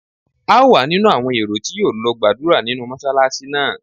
A ó wà nínú àwọn èrò tí yóò lọ gbàdúrà nínú Mọ́ṣálásí náà.